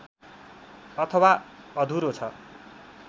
अथवा अधुरो छ